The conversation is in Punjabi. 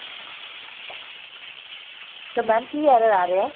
ਤਾਂ mam ਕੀ error ਆ ਰਿਹਾ